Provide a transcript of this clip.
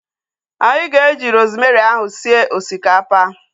Anyị ga-eji rosemary ahu sie osikapa